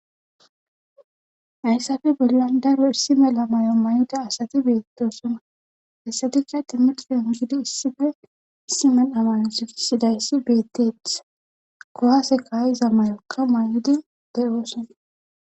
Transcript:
Hayssafe bollan daro issi mela mayo mayoda asati beettosuna hessatikka timmixife mugidi issife issi mel'a mayo sifisidayssi beettethh kohase kaayiza may7okka may'odi de'oosona.